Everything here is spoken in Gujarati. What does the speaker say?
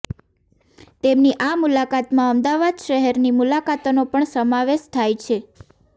તેમની આ મુલાકાતમાં અમદાવાદ શહેરની મુલાકાતનો પણ સમાવેશ થાય છે